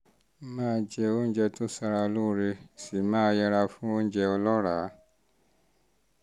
máa jẹ oúnjẹ tó ń ṣara lóore sì máa yẹra fún oúnjẹ ọlọ́ràá